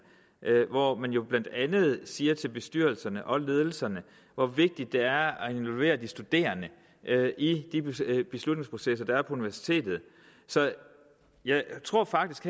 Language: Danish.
hvor man jo blandt andet siger til bestyrelserne og ledelserne hvor vigtigt det er at involvere de studerende i de beslutningsprocesser der er på universitetet så jeg tror faktisk